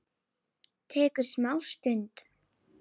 Tekur smá stund.